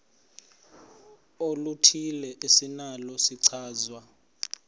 oluthile esinalo isichazwa